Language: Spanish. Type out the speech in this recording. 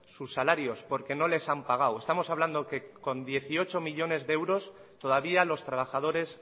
sus salarios porque no les han pagado estamos hablando que con dieciocho millónes de euros todavía los trabajadores